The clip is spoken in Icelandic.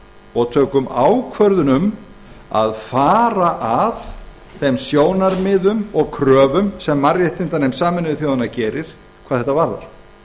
og tökum ákvörðun um að fara að þeim sjónarmiðum og kröfum sem mannréttindanefnd sameinuðu þjóðanna gerir hvað þetta